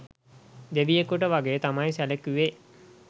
දෙවියෙකුට වගේ තමයි සැලකුවේ